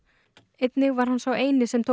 einnig var hann sá eini sem tók